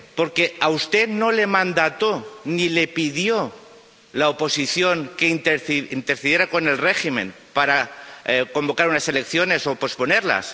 Porque a usted no le mandató ni le pidió la oposición que intercediera ante el régimen para convocar unas elecciones o posponerlas